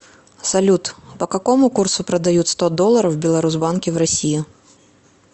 салют по какому курсу продают сто долларов в беларусбанке в россии